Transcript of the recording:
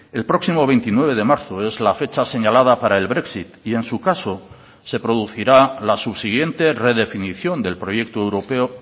el próximo veintinueve de marzo es la fecha señalada para el brexit y en su caso se producirá la subsiguiente redefinición del proyecto europeo